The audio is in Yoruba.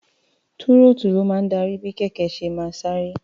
Túrọ́ọ́tù ló máa ń darí bí kẹ̀kẹ́ ṣe máa sáré.